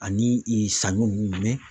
Ani ee saɲɔ nunnu mɛnɛ